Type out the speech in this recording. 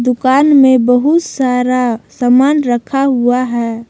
दुकान में बहुत सारा सामान रखा हुआ है।